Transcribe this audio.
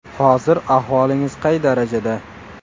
Hozir ahvolingiz qay darajada?